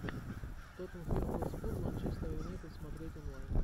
тоттенхэм хотспур манчестер юнайтед смотреть онлайн